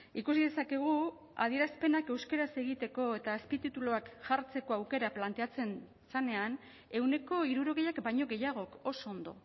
ikusi dezakegu adierazpenak euskaraz egiteko eta azpitituluak jartzeko aukera planteatzen zenean ehuneko hirurogeiak baino gehiagok oso ondo